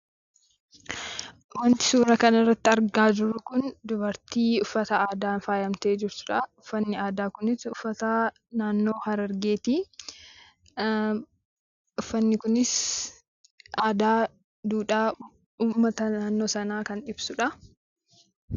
Wanti suura kanarratti argaa jiru kun dubartii uffata aadaan faayamtee jirtudha. uffanni aadaa kunis uffata naannoo Harargeeti. Uffanni kun aadaa fi duudhaa uummata naannoo sanaa kan ibsudha.